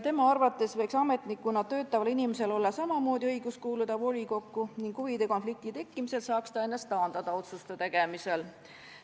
Tema arvates võiks ametnikuna töötaval inimesel olla samamoodi õigus kuuluda volikokku ning huvide konflikti tekkimise korral saaks ta ennast taandada otsuste tegemisest.